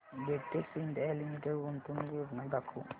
Betex India limited गुंतवणूक योजना दाखव